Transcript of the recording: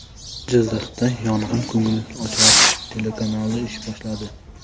Jizzaxda yangi ko‘ngilochar telekanal ish boshladi.